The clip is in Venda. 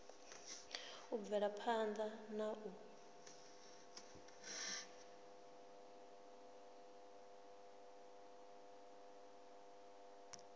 u bvela phanda na u